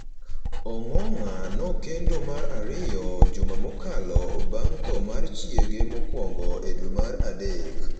Ongong’a nokendo mar ariyo juma mokalo bang’ tho mar chiege mokwongo e dwe mar adek.